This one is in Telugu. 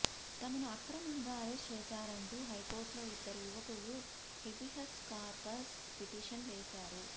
తమను అక్రమంగా అరెస్ట్ చేశారంటూ హైకోర్టులో ఇద్దరు యువకులు హెబియస్ కార్పస్ పిటిషన్ వేశారు